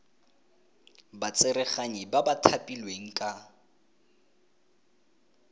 batsereganyi ba ba thapilweng ka